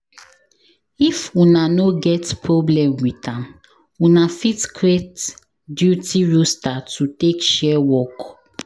If una no get problem with am, una fit create duty roster to take share work